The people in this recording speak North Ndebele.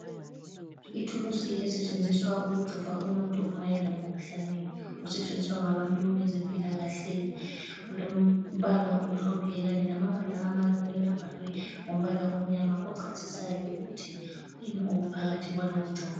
Ithulusi esetshenziswa ukujova umuntu ma elomkhuhlane, usetshenziswa ngabantu bezempilakahle. Kulombala omhlophe kanye lamabala amancane abhalwe ngombala omnyama ochasisayo ukuthi kuyini okuphakathi kwalowo mjovo.